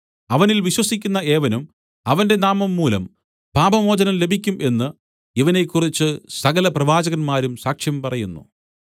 അവനിൽ വിശ്വസിക്കുന്ന ഏവനും അവന്റെ നാമം മൂലം പാപമോചനം ലഭിക്കും എന്ന് ഇവനെക്കുറിച്ച് സകല പ്രവാചകന്മാരും സാക്ഷ്യം പറയുന്നു